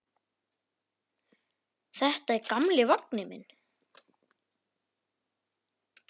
Þetta er gamli vagninn minn.